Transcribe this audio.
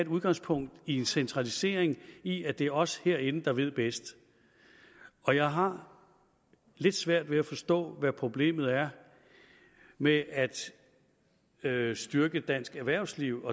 udgangspunkt i en centralisering i at det er os herinde der ved bedst og jeg har lidt svært ved at forstå hvad problemet er med at at styrke dansk erhvervsliv